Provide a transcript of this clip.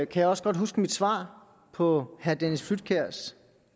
kan jeg også godt huske mit svar på herre dennis flydtkjærs